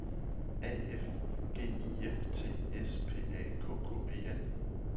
A F G I F T S P A K K E N